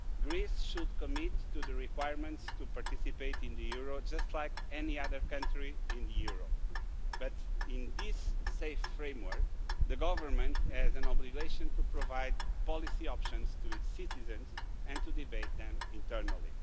Greece should commit to the requirements to participate in the euro just like any other country in the euro, but in this safe framework the government has an obligation to provide policy options to its citizens and to debate them internally.